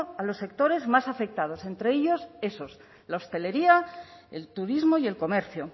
para los sectores más afectados entre ellos esos la hostelería el turismo y el comercio